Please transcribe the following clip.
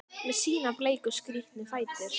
Með sína bleiku, skrítnu fætur?